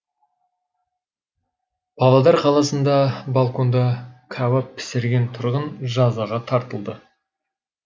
павлодар қаласында балконда кәуап пісірген тұрғын жазаға тартылды